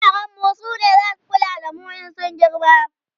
yaran mu sune zasu kula da mu in sun girma